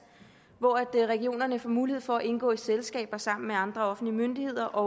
hvor regionerne får mulighed for at indgå i selskaber sammen med andre offentlige myndigheder og